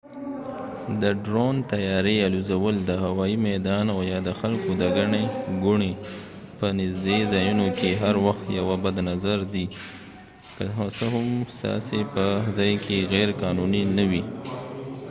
د ډرون طیارې الوزول د هوایي میدان او یا د خلکو د ګڼې ګوڼې په نژدې ځایونو کې هر وخت یوه بد نظر دی که څه هم ستاسې په ځاې کې غیر قانوني نه وي